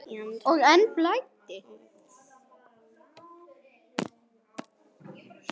Og enn blæddi.